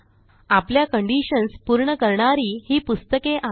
आपल्या कंडिशन्स पूर्ण करणारी ही पुस्तके आहेत